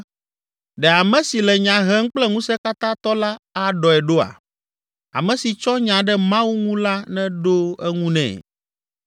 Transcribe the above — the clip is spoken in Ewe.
“Ɖe ame si le nya hem kple Ŋusẽkatãtɔ la aɖɔe ɖoa? Ame si tsɔ nya ɖe Mawu ŋu la neɖo eŋu nɛ!”